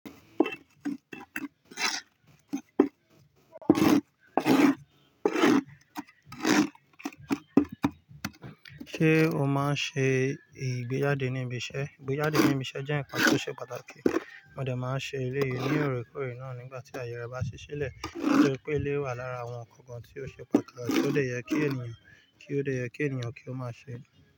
Sé o máan se ìgbéjáde ni ibi ise, igbejade nibi ise je nnkan to se pataki. Mo de maa n se eleyi ni ooreekoore nigba ti aaye re ba si sile nitoripe eleyii wa lara awon nkankan tio se pataki tio de ye ki eniyan ki o maa se.